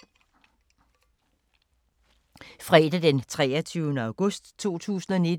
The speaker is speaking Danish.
Fredag d. 23. august 2019